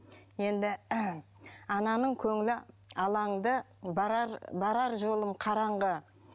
енді ананың көңілі алаң ды барар жолың қараңғы